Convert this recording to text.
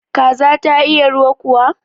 Kaza ta iya ruwa kuwa?